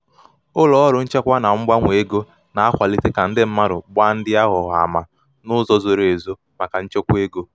ụlọ ọrụ nchekwa na mgbanwe ego na-akwalite ka ndi mmadụ gbaa ndi aghụghọ ama ndi aghụghọ ama n'uzo zoro ezo maka nchekwa ego.